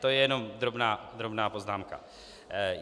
To je jenom drobná poznámka.